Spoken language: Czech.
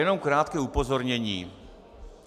Jenom krátké upozornění.